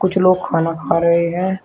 कुछ लोग खाना खा रहे हैं।